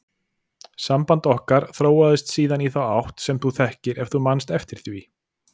Samband okkar þróaðist síðan í þá átt sem þú þekkir ef þú manst eftir því.